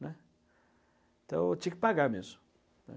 né? Então tinha que pagar mesmo.